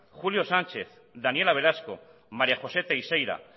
julio sánchez daniela velasco maría josé teixeira